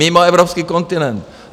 Mimo evropský kontinent.